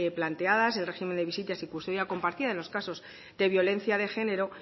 planteadas el régimen de visitas y custodia compartida en los casos de violencia de género